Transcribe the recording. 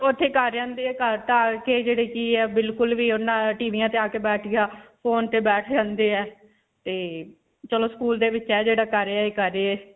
ਓੱਥੇ ਹੀ ਕਰ ਆਉਂਦੇ ਹੈ ਘਰ ਤਾਂ ਆ ਕੇ ਜਿਹੜੀ ਕਿ ਹੈ ਬਿਲਕੁਲ ਵੀ ਹੈ ਉਨ੍ਹਾਂ ਟੀਵੀਆਂ 'ਚ ਆ ਕੇ ਬੈਠ ਗਿਆ. phone ਤੇ ਬੈਠ ਜਾਂਦੇ ਹੈ ਤੇ ਚਲੋ school ਦੇ ਵਿੱਚ ਹੈ ਜਿਹੜਾ ਕਰ ਆਏ, ਕਰ ਆਏ.